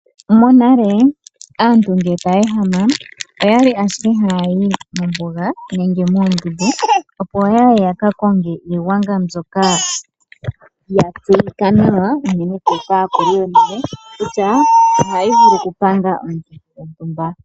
Monale aantu ngele taya ehama oyali ashike haya mombuga nenge moondundu opo yaye yaka konge iigwanga mbyoka ya tseyika nawa unene tuu kaakuluyonale kutya ohayi vulu oku panga omiikithi dhontumba.